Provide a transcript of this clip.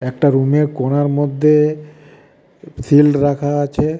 একটা রুমের কোনার মধ্যে শিল্ড রাখা আছে.